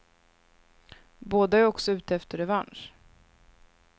Båda är också ute efter revansch.